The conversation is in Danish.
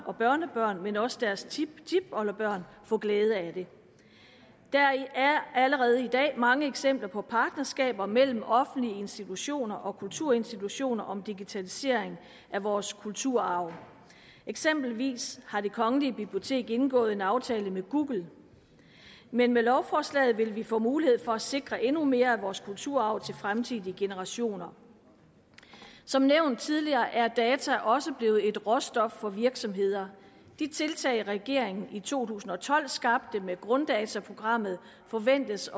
og børnebørn men også deres tiptipoldebørn få glæde af det der er allerede i dag mange eksempler på partnerskaber mellem offentlige institutioner og kulturinstitutioner om digitalisering af vores kulturarv eksempelvis har det kongelige bibliotek indgået en aftale med google men med lovforslaget vil vi få mulighed for at sikre endnu mere af vores kulturarv til fremtidige generationer som nævnt tidligere er data også blevet et råstof for virksomheder de tiltag regeringen i to tusind og tolv skabte med grunddataprogrammet forventes